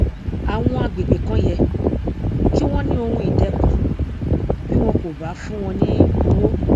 àwọn agbègbè kan yẹ kí wọn ní ohunìdẹkùn bí wọn kò bá fún wọn ní owó